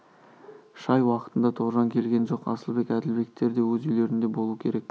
шай уақытында тоғжан келген жоқ асылбек әділбектер де өз үйлерінде болу керек